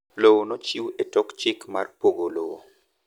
Lowo nochiw e tok chik mar pogo lowo